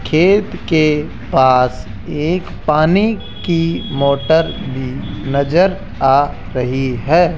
खेत के पास एक पानी की मोटर भी नजर आ रही है।